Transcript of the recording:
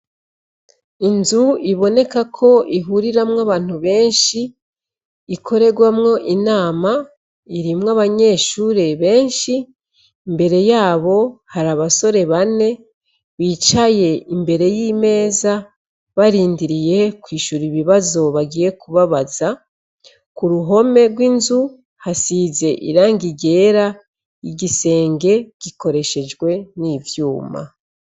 Inzu iboneka ko ihuriramwo abantu benshi ikorerwamwo inama irimwo abanyeshure benshi imbere yabo hari abasore bane bicaye imbere y'imeza barindiriye kw'ishura ibibazo bagiye kubabaza, ku ruhome rw'inzu hasize irangi ryera igisenge gikoreshejwe n'ivyuma.